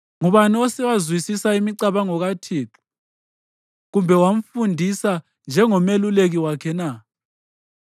Ngubani osewazwisisa imicabango kaThixo, kumbe wamfundisa njengomeluleki wakhe na?